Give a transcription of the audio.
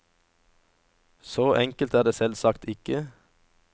Så enkelt er det selvsagt ikke.